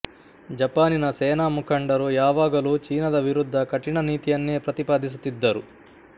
ಜಪಾನಿನ ಸೇನಾ ಮುಖಂಡರು ಯಾವಾಗಲೂ ಚೀನದ ವಿರುದ್ಧ ಕಠಿಣ ನೀತಿಯನ್ನೇ ಪ್ರತಿಪಾದಿಸುತ್ತಿದ್ದರು